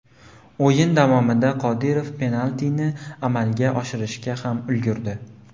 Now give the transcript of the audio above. O‘yin davomida Qodirov penaltini amalga oshirishga ham ulgurdi.